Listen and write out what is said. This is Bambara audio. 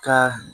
Ka